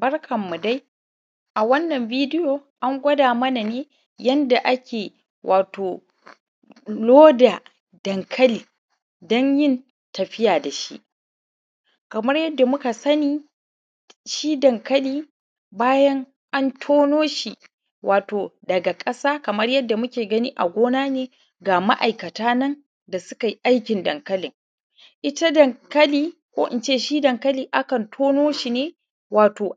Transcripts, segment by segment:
Barkan mu dai! A wannan bidiyon an koya mana yanda ake wato loda dankali danyin tafiya dashi. Kaman yadda ku ka sani, shi dankali bayan an tonoshi daga ƙasa kamar yanda ku ka gani a gona ne, ga ma’aikata nan da sukai aikin dankali. Ita dankali ko ince shi dankali akan tonoshi ne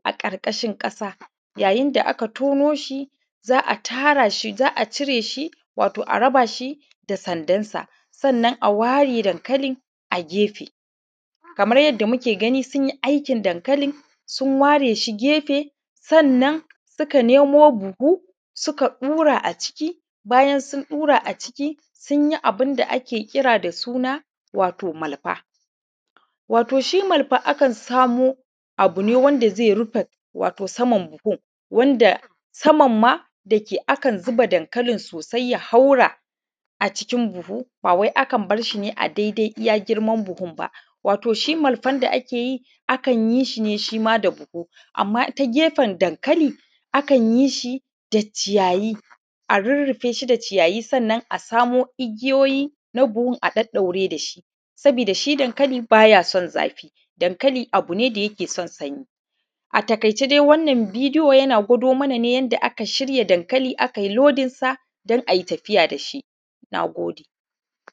a ƙarƙashin ƙasa, ya yinda aka tonoshi za’a tara shi wato a cire shi a rashi da sandar, sannan a ware dankalin daga gefe. Kamar yanda muke gani sunyi aikin dankali, sun ware a gefe sannan suka nemo buhu suka ɗura a ciki. Bayan sun ɗura a ciki sunyi abunda ake kira wato malfa. Toshi malfa akan samo abune wanda zai rufe wato saman buhun, musamanma idan aka zuba dankalin sosai ya haura a cikin buhun bawai akan barshi ne a dai dai iyya girman buhun ba. Wato shi kwarfan da akeyi akan yishi ne shima da buhu amma ta gefen dankali akan yishi da ciyayi, a rurrufeshi da ciyayi, sannan a samo igiyoyi na buhu a ɗaɗɗaure da shi, saboda shi dankali baya son zafi, abune mai son sanyi. A taƙaice dai gwado mana ne yanda aka shirya dankali, akai lodinsa dan ayi tafiya dashi. Nagode!